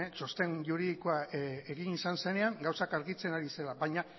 txosten juridikoa egin izan zenean gauzak argitzen ari zela baina